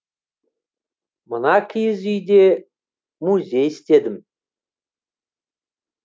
мына киіз үйде музей істедім